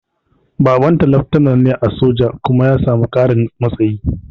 Babanta leftanar ne a soja kuma ya sami ƙarin matsayi